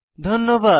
ধন্যবাদ